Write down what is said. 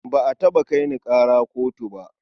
Ba a taɓa kai ni ƙara kotu ba.